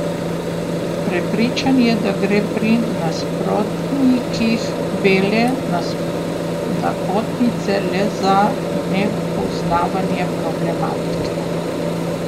Prepričan je, da gre pri nasprotnikih bele napotnice le za nepoznavanje problematike.